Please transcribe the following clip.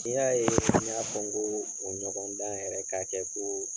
N'i y'a yee n y'a fɔ n koo o ɲɔgɔndan yɛrɛ ka kɛ koo